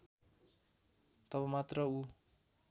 तब मात्र ऊ